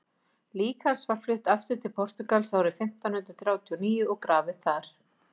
lík hans var flutt aftur til portúgals árið fimmtán hundrað þrjátíu og níu og grafið þar